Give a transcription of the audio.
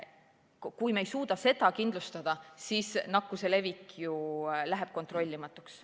Kui me ei suuda seda kindlustada, siis läheb nakkuse levik kontrollimatuks.